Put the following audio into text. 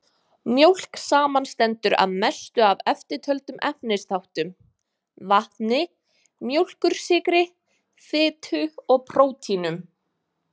Mjólk samanstendur að mestu af eftirtöldum efnisþáttum: vatni, mjólkursykri, fitu og prótínum.